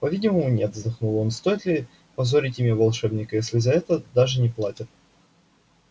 по-видимому нет вздохнул он стоит ли позорить имя волшебника если за это даже не платят